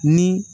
Ni